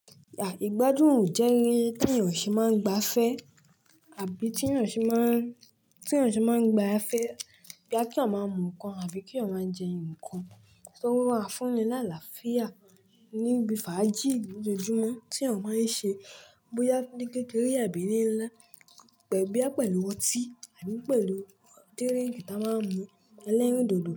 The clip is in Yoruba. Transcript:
Ìgbádùn òun jẹ́ ẹni tí ènìyàn ṣe máa ń gba fẹ́ àbí tí ènìyàn ṣe máà ń, tí ènìyàn ṣe máa ń gba fẹ́ boya kí eeyan máa mú ǹkan àbí kí eeyan máa jẹ ǹkan tí ó máa ń fún ni láàláfíà níbi fàájì lójoojúmọ́ tí awon máa ń ṣe bóyá ní kékeré àbí ní ńlá pẹ̀lú bí ẹ pẹ̀lú ọtí àbí pẹ̀lú díríkì tí a máa ń mú ẹlẹ́rìndòdò.